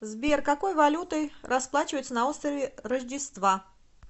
сбер какой валютой расплачиваются на острове рождества